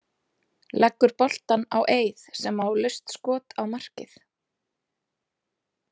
Leggur boltann á Eið sem á laust skot á markið.